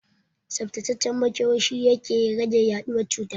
Tsaftacaccen makewayi shi yake rage yaɗuwar cuta